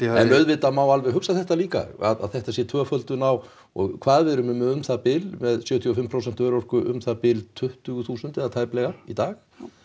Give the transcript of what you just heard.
en auðvitað má alveg hugsa þetta líka að þetta sé tvöföldun á og hvað við erum með um það bil með sjötíu og fimm prósent örorku um það bil tuttugu þúsund eða tæplega í dag